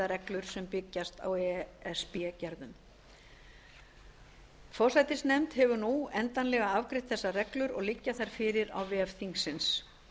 reglur sem byggjast á e s b gerðum forsætisnefnd hefur nú endanlega afgreitt þessar reglur og liggja þær fyrir á vef þingsins